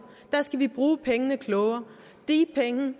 og der skal vi bruge pengene klogere de penge